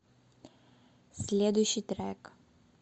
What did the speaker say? следующий трек